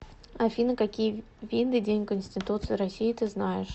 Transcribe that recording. афина какие виды день конституции россии ты знаешь